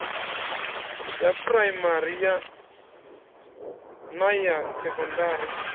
ya phuraimari na ya sekondari